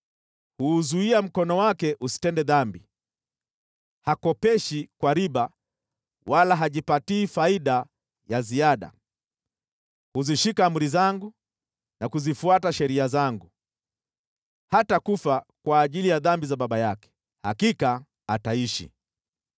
Huuzuia mkono wake usitende dhambi, hakopeshi kwa riba wala hajipatii faida ya ziada. Huzishika amri zangu na kuzifuata sheria zangu. Hatakufa kwa ajili ya dhambi za baba yake; hakika ataishi.